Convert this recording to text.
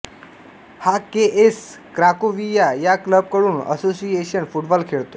हा K S Cracovia या क्लबकडून असोसियेशन फुटबॉल खेळतो